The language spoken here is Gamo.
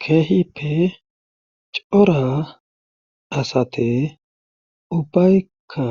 kehippe cora asati ubbayikka